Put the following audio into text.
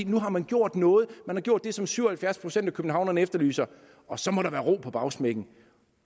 nu har man gjort noget man har gjort det som syv og halvfjerds procent af københavnerne efterlyser og så må der være ro på bagsmækken